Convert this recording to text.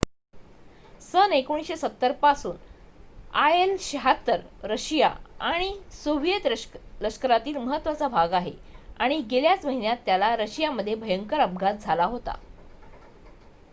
सन १९७० पासून आयएल-७६ रशिया आणि सोव्हिएत लष्करातील महत्त्वाचा भाग आहे आणि गेल्याच महिन्यात त्याला रशियामध्ये भयंकर अपघात झाला होता